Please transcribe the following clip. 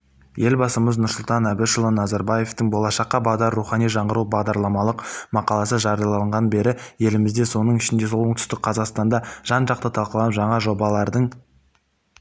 елбасымыз нұрсұлтан әбішұлы назарбаевтың болашаққа бағдар рухани жаңғыру бағдарламалық мақаласы жарияланғаны бері елімізде соның ішінде оңтүстік қазақстанда жан-жақты талқыланып жаңа жобалардың